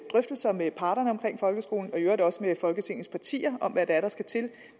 drøftelser med parterne omkring folkeskolen og i øvrigt også med folketingets partier om hvad det er der skal til